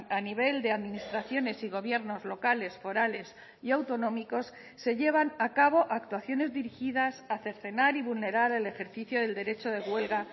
a nivel de administraciones y gobiernos locales forales y autonómicos se llevan a cabo actuaciones dirigidas a cercenar y vulnerar el ejercicio del derecho de huelga